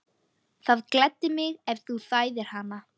Það gleddi mig, ef þú þæðir hana